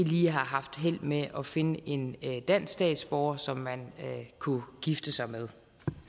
lige har haft held med at finde en dansk statsborger som man kunne gifte sig med